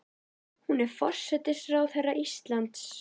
Hún er forsætisráðherra Íslands.